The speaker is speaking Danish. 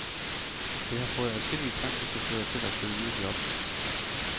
Det har fået adskillige taxichauffører til at søge ny jobs.